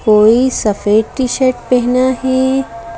कोई सफेद T shirt पहना है।